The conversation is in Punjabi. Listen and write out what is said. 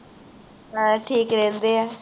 ਹਾਂ ਠੀਕ ਰਹਿੰਦੇ ਹਾ